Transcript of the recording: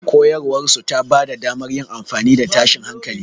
Koyarwarsu ta ba da damar yin amfani da tashin hankali.